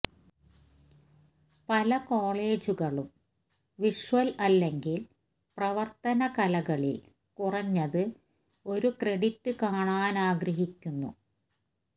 പല കോളെജുകളും വിഷ്വൽ അല്ലെങ്കിൽ പ്രവർത്തന കലകളിൽ കുറഞ്ഞത് ഒരു ക്രെഡിറ്റ് കാണാനാഗ്രഹിക്കുന്നു